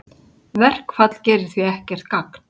Verkfall gerir því ekkert gagn